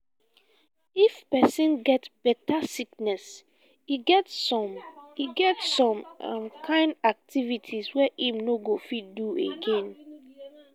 if person get better sickness e get some e get some um kind activities wey im no go fit dey do again